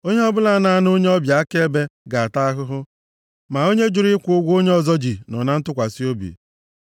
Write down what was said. Onye ọbụla na-ana onye ọbịa nʼakaebe ga-ata ahụhụ, ma onye jụrụ ịkwụ ụgwọ onye ọzọ ji, nọ na ntụkwasị obi. + 11:15 Maọbụ, ga-enwe udo